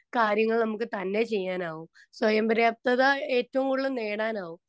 Speaker 2 കാര്യങ്ങൾ നമ്മുക്ക് തന്നെ ചെയ്യാൻ ആവും. സ്വയംപര്യാപ്തത ഏറ്റവും കൂടുതൽ നേടാൻ ആവും.